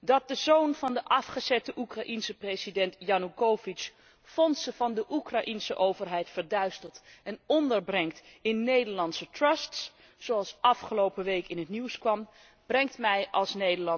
Dat de zoon van de afgezette Oekraïense president Janoekovitsj fondsen van de Oekraïense overheid verduistert en onderbrengt in Nederlandse trusts, zoals afgelopen week in het nieuws kwam, brengt mij als